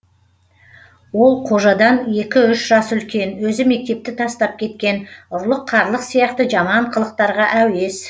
ол қожадан екі үш жас үлкен өзі мектепті тастап кеткен ұрлық қарлық сияқты жаман қылықтарға әуес